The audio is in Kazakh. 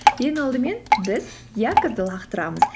ең алдымен біз якорьді лақтырамыз